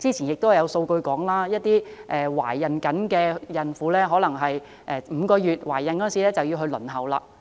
過去有數據顯示，一些孕婦可能在懷孕5個月時便開始輪候服務。